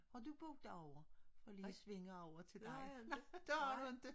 Har du boet derovre for lige at svinge over til dig? Nej det har du ikke?